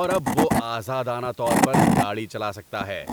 اور اب وہ آزادانہ طور پر گاڑی چلا سکتا ہے۔